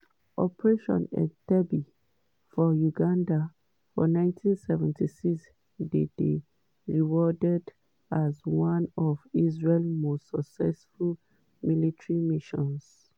operation entebbe for uganda for 1976 dey dey regarded as one of israel most successful military missions.